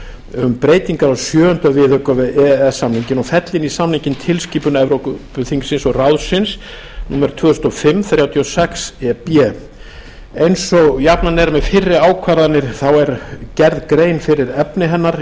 um breytingu á sjöunda viðauka við e e s samninginn og fella inn í samninginn tilskipun evrópuþingsins og ráðsins númer tvö þúsund og fimm þrjátíu og sex e b eins og jafnan er með fyrri ákvarðanir þá er gerð grein fyrir efni hennar